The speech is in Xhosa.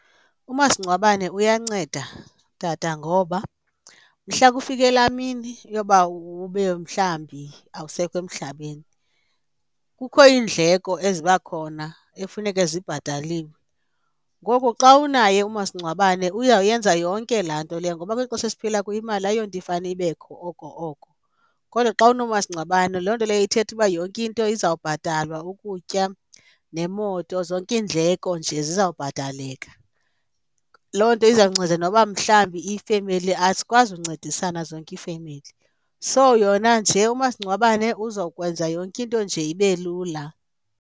Umasingcwabane uyanceda tata, ngoba mhla kufike laa mini yoba ube mhlawumbi awusekho emhlabeni, kukho iindleko eziba khona ekufuneke zibhataliwe. Ngoku xa unaye umasingcwabane uyawuyenza yonke laa nto leya ngoba kweli xesha esiphila kuyo imali ayonto ifane ibekho oko oko, kodwa xa unomasingcwabane loo nto leyo ithetha uba yonke into izawubhatalwa, ukutya nemoto, zonke iindleko nje zizawubhataleka. Loo nto izawunceda noba mhlawumbi ifemeli, azikwazi uncedisana zonke iifemeli so yona nje umasingcwabane uzokwenza yonke into nje ibe lula.